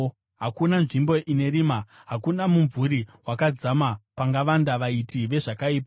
Hakuna nzvimbo ine rima, hakuna mumvuri wakadzama, pangavanda vaiti vezvakaipa.